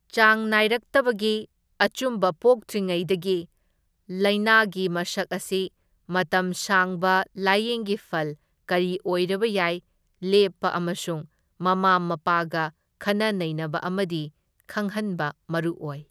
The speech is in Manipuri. ꯆꯥꯡ ꯅꯥꯢꯔꯛꯇꯕꯒꯤ ꯑꯆꯨꯝꯕ ꯄꯣꯛꯇ꯭ꯔꯤꯉꯩꯗꯒꯤ ꯂꯥꯢꯅꯥꯒꯤ ꯃꯁꯛ ꯑꯁꯤ ꯃꯇꯝ ꯁꯥꯡꯕ ꯂꯥꯌꯦꯡꯒꯤ ꯐꯜ ꯀꯔꯤ ꯑꯣꯢꯔꯕꯌꯥꯢ ꯂꯦꯞꯄ ꯑꯃꯁꯨꯡ ꯃꯃꯥ ꯃꯄꯥꯒ ꯈꯟꯅ ꯅꯩꯅꯕ ꯑꯃꯗꯤ ꯈꯪꯍꯟꯕ ꯃꯔꯨꯑꯣꯢ꯫